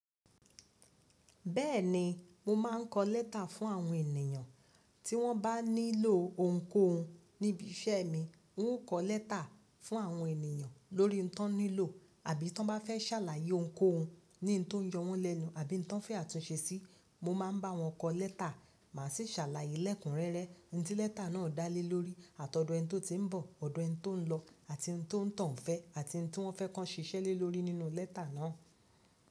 Bẹ́ẹ̀ni, mo máa ń kọ létà fún àwọn ènìyàn. Tí wọ́n bá nílò ohunkóhun níbi iṣẹ́ mi, n óò kọ létà fún àwọn ènìyàn lórí nǹkan tí wọ́n nílò, àbí tí wọ́n bá fẹ́ ṣàlàyé ohunkóhun ní ohun tó ń yọ wọ́n lẹ́nu, àbí ohun tí wọ́n fẹ́ àtúnṣe sí, mo máa ń bá wọn kọ létà. Màá sí ṣàlàyé lẹ́kùn rẹ́rẹ́, ohun tí létà náà dálé lórí, àtọ̀ọ̀dọ̀ ẹni tó ti ń bọ̀, ọ̀dọ̀ ẹni tó ń lọ, àti ohun tó ń toun fẹ́, àti ohun tí wọ́n fẹ́ ki won ṣiṣẹ́ lé lórí nínú létà náà.